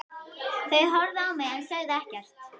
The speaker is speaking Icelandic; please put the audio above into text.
Þau horfðu á mig en sögðu ekkert.